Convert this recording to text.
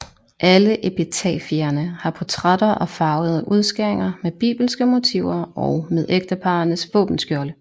Alle epitafierne har portrætter og farvede udskæringer med bibelske motiver og med ægteparrenes våbenskjolde